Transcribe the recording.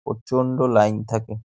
বাস reserve করে --